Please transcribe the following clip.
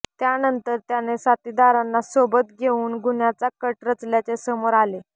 त्यानंतर त्याने साथीदारांना सोबत घेऊन गुन्ह्याचा कट रचल्याचे समोर आले